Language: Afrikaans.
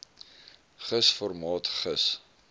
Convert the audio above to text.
gis formaat gis